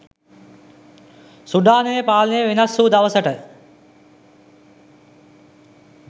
සුඩානයේ පාලනය වෙනස්වූ දවසට